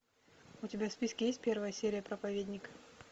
у тебя в списке есть первая серия проповедник